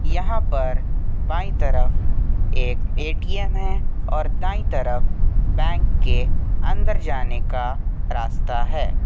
यहां पर बाएं तरफ एक ए_टी_एम है और दाएं तरफ बैंक के अंदर जाने का रास्ता है।